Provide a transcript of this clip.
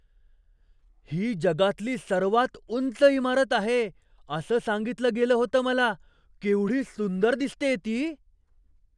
ही जगातली सर्वात उंच इमारत आहे असं सांगितलं गेलं होतं मला. केवढी सुंदर दिसतेय ती!